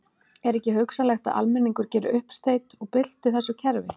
Er ekki hugsanlegt að almenningur geri uppsteyt og bylti þessu kerfi?